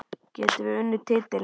Getum við unnið titilinn?